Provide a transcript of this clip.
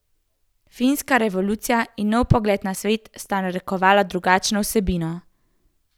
Francoska revolucija in nov pogled na svet sta narekovala drugačno vsebino.